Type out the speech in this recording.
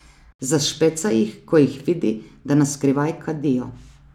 Zašpeca jih, ko jih vidi, da na skrivaj kadijo.